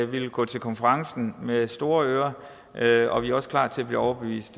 vil gå til konferencen med store ører og vi er også klar til at blive overbevist